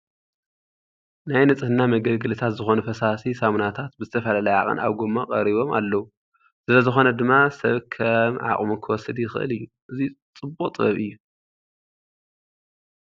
ናይ ንፅሕና መገልገልታት ዝኾኑ ፈሳሲ ሳሙናታት ብተፈላለየ ዓቐን ኣብ ጐማ ቀሪቦም ኣለዉ፡፡ ስለዝኾነ ድማ ሰብ ከም ዓቕሙ ክወስድ ይኽእል እዩ፡፡ እዚ ፅቡቕ ጥበብ እዩ፡፡